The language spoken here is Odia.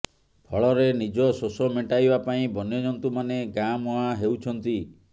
ଫଳରେ ନିଜ ଶୋଷ ମେଣ୍ଟାଇବା ପାଇଁ ବନ୍ୟଜନ୍ତୁମାନେ ଗାଁ ମୁହାଁ ହେଉଛନ୍ତି